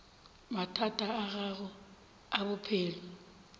mathata a gago a bophelo